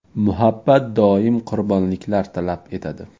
Muhabbat doim qurbonliklar talab etadi.